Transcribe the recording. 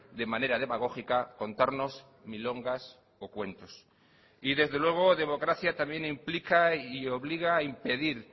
de manera demagógica contarnos milongas o cuentos y desde luego democracia también implica y obliga a impedir